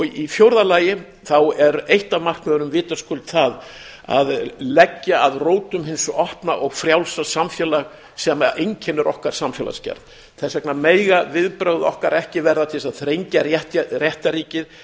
í fjórða lagi er eitt af markmiðunum vitaskuld það að leggja að rótum hins opna og frjálsa samfélags sem einkennir okkar samfélagsgerð þess vegna mega viðbrögð okkar ekki verða til þess að þrengja réttarríkið